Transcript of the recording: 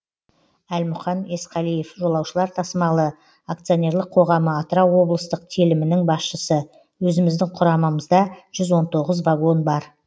әлмұқан есқалиев жолаушылар тасымалы акционерлік қоғамы атырау облыстық телімінің басшысы өзіміздің құрамамызда жүз он тоғыз вагон бар